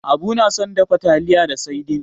Abu na son dafa taliya da saidin.